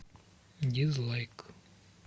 дизлайк